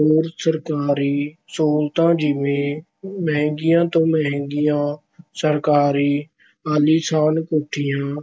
ਹੋਰ ਸਰਕਾਰੀ ਸਹੂਲਤਾਂ- ਜਿਵੇਂ ਮਹਿੰਗੀਆਂ ਤੋਂ ਮਹਿੰਗੀਆਂ ਸਰਕਾਰੀ ਆਲੀਸ਼ਾਨ ਕੋਠੀਆਂ,